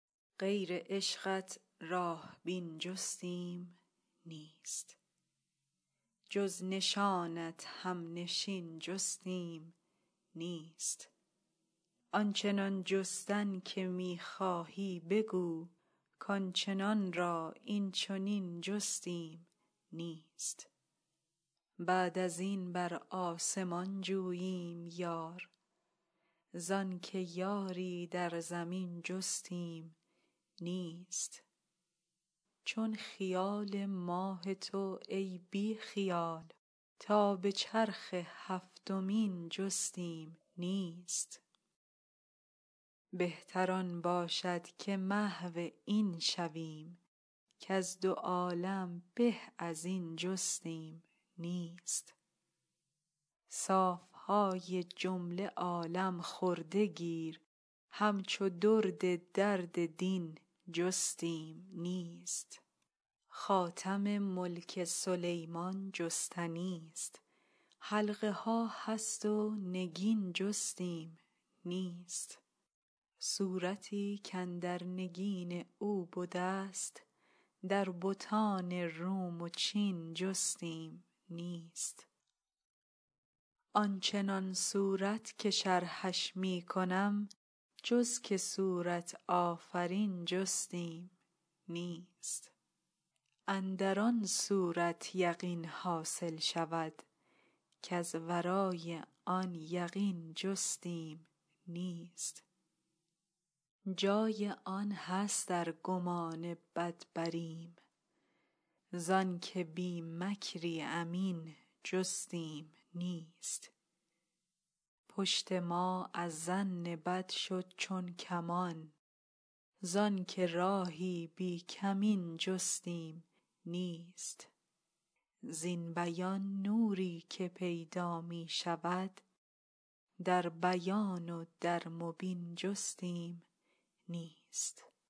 غیر عشقت راه بین جستیم نیست جز نشانت همنشین جستیم نیست آن چنان جستن که می خواهی بگو کان چنان را این چنین جستیم نیست بعد از این بر آسمان جوییم یار زانک یاری در زمین جستیم نیست چون خیال ماه تو ای بی خیال تا به چرخ هفتمین جستیم نیست بهتر آن باشد که محو این شویم کز دو عالم به از این جستیم نیست صاف های جمله عالم خورده گیر همچو درد درد دین جستیم نیست خاتم ملک سلیمان جستنیست حلقه ها هست و نگین جستیم نیست صورتی کاندر نگین او بدست در بتان روم و چین جستیم نیست آن چنان صورت که شرحش می کنم جز که صورت آفرین جستیم نیست اندر آن صورت یقین حاصل شود کز ورای آن یقین جستیم نیست جای آن هست ار گمان بد بریم ز آنک بی مکری امین جستیم نیست پشت ما از ظن بد شد چون کمان زانک راهی بی کمین جستیم نیست زین بیان نوری که پیدا می شود در بیان و در مبین جستیم نیست